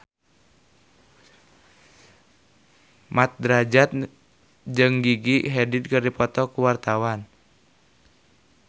Mat Drajat jeung Gigi Hadid keur dipoto ku wartawan